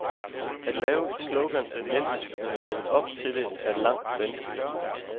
At lave et slogan er nemt, men at leve op til det er langt vanskeligere.